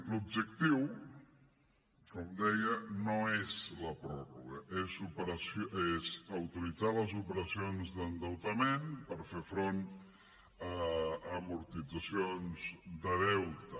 l’objectiu com deia no és la pròrroga és autoritzar les operacions d’endeutament per fer front a amortitzacions de deute